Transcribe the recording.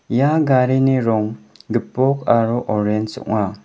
ia garini rong gipok aro orenj ong·a.